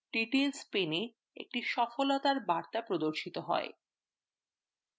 details panea একটি সফলতার বার্তা প্রদর্শিত হয়